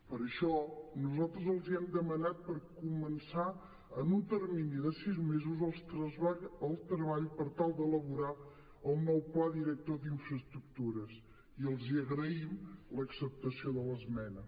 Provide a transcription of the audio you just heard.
per això nosaltres els hem demanat per començar en un termini de sis mesos el treball per tal d’elaborar el nou pla director d’infraestructures i els agraïm l’acceptació de l’esmena